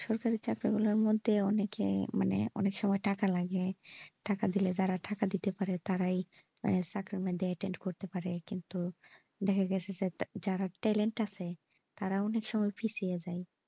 সরকারি চাকরি গুলার মধ্যে অনেকেই মানে অনেক সময় টাকা লাগে টাকা দিলে যারা টাকা দিতে পারে তারাই sacriment টা attend করতে পারে কিন্তু দেখা গেছে যার talent আছে তারা অনেক সময় পিছিয়ে যাই।